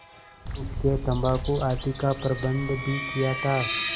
हुक्केतम्बाकू आदि का प्रबन्ध भी किया था